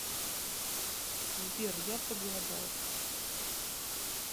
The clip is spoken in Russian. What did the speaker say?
сбер я проголодалась